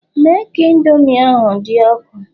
Mee ka Indomi ahụ dị ọkụ